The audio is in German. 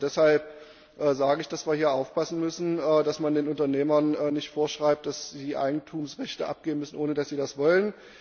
Deshalb sage ich, dass wir hier aufpassen müssen, dass man den Unternehmern nicht vorschreibt, dass sie Eigentumsrechte abgeben müssen, ohne dass sie das wollen.